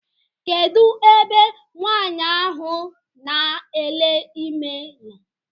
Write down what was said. Kedụ ebe nwaanyị ahụ na ele ime nọ?